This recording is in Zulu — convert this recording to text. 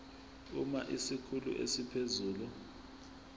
uma isikhulu esiphezulu